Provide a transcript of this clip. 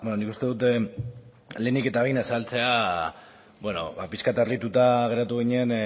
nik uste dut lehenik eta behin azaltzea pixkat harrituta geratu ginen